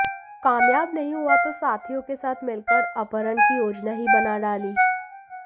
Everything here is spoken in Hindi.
कामयाब नहीं हुआ तो साथियों के साथ मिलकर अपहरण की योजना ही बना डाली